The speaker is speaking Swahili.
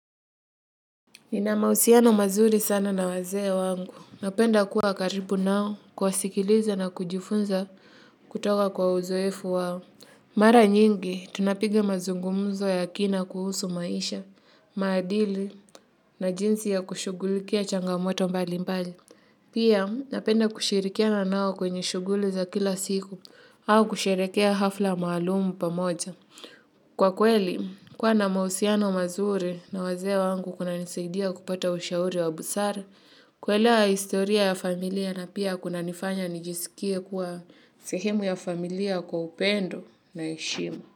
Nina mahusiano mazuri sana na wazee wangu napenda kuwa karibu nao kuwasikiliza na kujifunza kutoka kwa uzoefu wao. Mara nyingi, tunapiga mazungumzo ya kina kuhusu maisha, maadili na jinsi ya kushugulikia changamoto mbali mbali. Pia, napenda kushirikiana nao kwenye shughuli za kila siku au kusherekea hafla maalumu pamoja. Kwa kweli, kuwa na mahusiano mazuri na wazee wangu kunanisaidia kupata ushauri wa busara kuelewa historia ya familia na pia kunanifanya nijisikie kuwa sehemu ya familia kwa upendo na heshima.